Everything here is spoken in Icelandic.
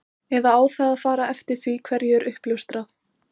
Eða á það að fara eftir því hverju er uppljóstrað?